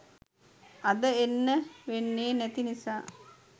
අද එන්න වෙන්නේ නැති නිසා